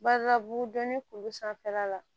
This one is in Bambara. Badabugudonin kuru sanfɛla la